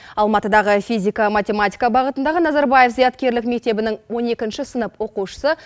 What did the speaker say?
алматыдағы физика математика бағытындағы назарбаев зияткерлік мектебінің он екінші сынып оқушысы